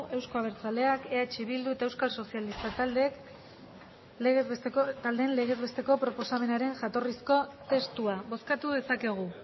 euzko abertzaleak eh bildu eta euskal sozialistak taldeen legez besteko proposamenaren jatorrizko testua bozkatu dezakegu